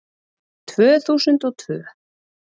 Tvö þúsund og tvö